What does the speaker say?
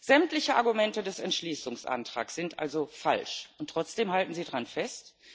Sämtliche Argumente des Entschließungsantrags sind also falsch, und trotzdem halten Sie daran fest?